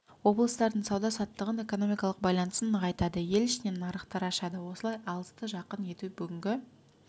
облыстардың сауда-саттығын экономикалық байланыстарын нығайтады ел ішінен нарықтар ашады осылай алысты жақын ету бүгінгі